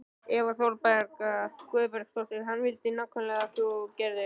Eva Bergþóra Guðbergsdóttir: Hvað vildi hann nákvæmlega að þú gerðir?